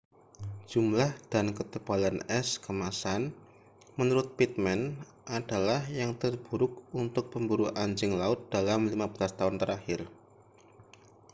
jumlah dan ketebalan es kemasan menurut pittman adalah yang terburuk untuk pemburu anjing laut dalam 15 tahun terakhir